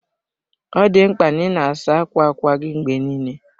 Ọ dị mkpa na ị na-asa ákwà ákwá gị mgbe niile.